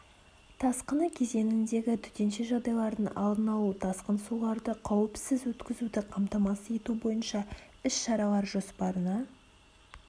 тасқыны кезеңіндегі төтенше жағдайлардың алдын алу тасқын суларды қауіпсіз өткізуді қамтамасыз ету бойынша іс-шаралар жоспарына